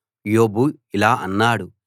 యోబు ఇలా అన్నాడు